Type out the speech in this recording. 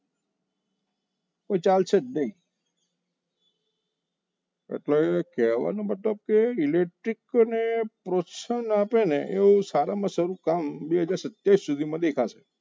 તો ચાલશે જ નહીં એટલે એક કહેવાનો મતલબ કે electric ને પ્રોત્સમ આપે ને એવું સારામાં સારું કામ બે હાજર સત્યાવીસ સુધીમાં દેખાશે